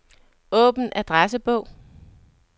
Åbn adressebog.